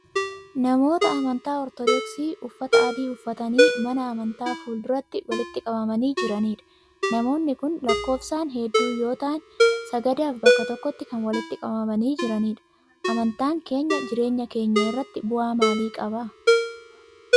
Namoota amantaa Ortodoksii uffata adii uffatanii mana amantaa fuul-duratti walitti qabamanii jiranidha. Namoonni kun lakkoofsaan hedduu yoo ta'an, sagadaaf bakka tokkotti kan walitti qabamanii jiranidha. Amantaan keenya jireenya keenya irratti bu'aa maalii qaba?